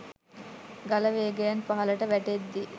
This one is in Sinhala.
ගල වේගයෙන් පහළට වැටෙද්දී